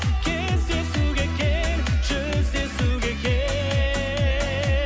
кездесуге кел жүздесуге